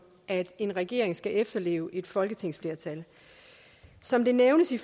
at en regering skal efterleve et folketingsflertal som det nævnes i